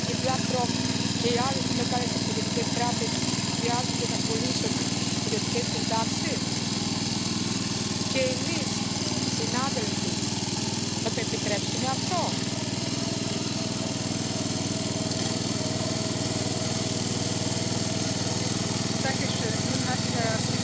De verschillen in pensioenvoorzieningen tussen de lidstaten in de EU zijn levensgroot. Het is onmogelijk en ook onwenselijk om daar een soort Europese eenheidsworst van te maken. Pensioensysteem verdienen maatwerk.